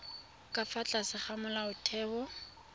ka fa tlase ga molaotheo